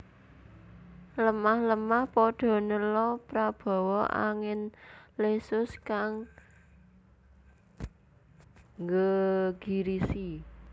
Lemah lemah padha nela prabawa angin lesus kang nggegirisi